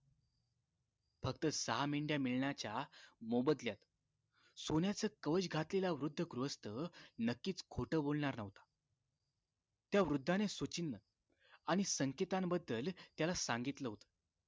फक्त सहा मेंढ्या मिळण्याच्या मोबदल्यात सोन्याचं कवच घातलेला वृद्ध गृहस्थ नक्कीच खोटं बोलणार न्हवता त्या वृद्धानं त्याला सुचिन्ह आणि संकेताबद्दल त्याला सांगितलं होत